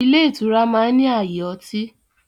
Ilé ìtura máa ń ní ààyè ọtí.